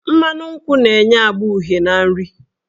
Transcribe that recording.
Mmanụ nkwụ na-enye agba uhie na nri.